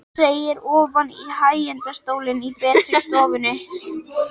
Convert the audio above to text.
Hann seig ofan í hægindastólinn í betri stofunni.